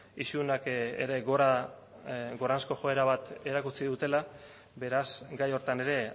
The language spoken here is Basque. isunak ere gorazko joera bat erakutsi dutela beraz gai horretan ere